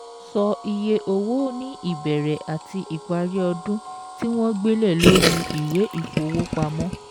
Sọ iye owó ní ìbẹ̀rẹ̀ àti ìparí ọdún tí wọ́n gbé lẹ̀ lórí ìwé ìfowópamọ́